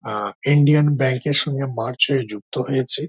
আ Indian bank -এর সঙ্গে merge হয়ে যুক্ত হয়েছে।